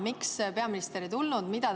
Miks peaminister ei tulnud?